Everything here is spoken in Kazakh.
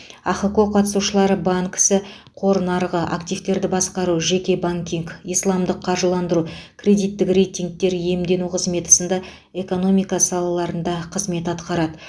ахқо қатысушылары банк ісі қор нарығы активтерді басқару жеке банкинг исламдық қаржыландыру кредиттік рейтингтер иемдену қызметі сынды экономика салаларында қызмет атқарады